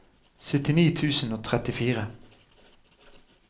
syttini tusen og trettifire